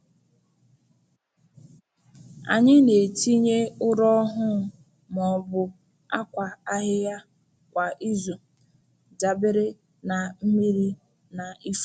Anyị na-etinye ụrọ ọhụụ ma ọ bụ akwa ahịhịa kwa izu, dabere na mmiri na ifuru.